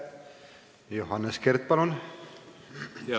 Johannes Kert, palun!